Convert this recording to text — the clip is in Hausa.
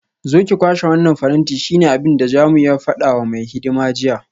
Zo ki kwashe wannan faranti shine abinda Jamiu ya fada wa mai hidima jiya